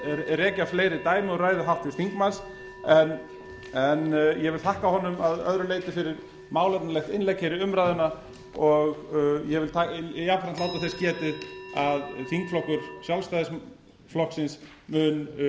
rekja fleiri dæmi úr ræðu háttvirts þingmanns en ég vil þakka honum að öðru leyti fyrir málefnalegt innlegg hér í umræðuna og ég vil jafnframt láta þess getið að þingflokkur sjálfstæðisflokksins mun